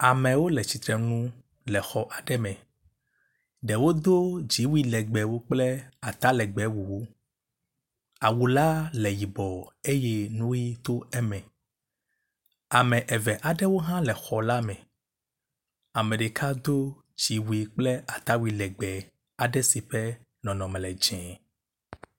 Amewo le tsitre nu le xɔ aɖe me. Ɖewo do dziwui legbẽwo kple atalegbẽ bubu, awu la le yibɔ eye nu ʋi to eme. Ame eve aɖewo hã le xɔ la me. Ame ɖeka do dziwui kple atalegbẽ legbẽ aɖe si ƒe nɔnɔme le dzɛ̃.